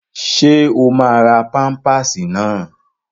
Ṣé o máa ra pámpásì náà?